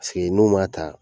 Fe yen n'u m'a ta